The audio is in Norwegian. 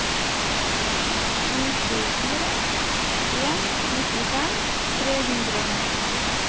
sju sju fire en nittifem tre hundre og ni